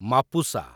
Mapusa